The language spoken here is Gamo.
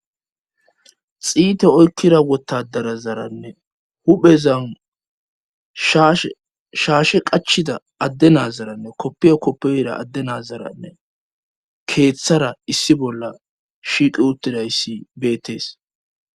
Xiite oykkira wotadarazaranne huphezan shshaashe qachida adde nazaranne koppiya koppeyra adde nazaranne keeththara issi bolla shiiqi uttidayssi beettees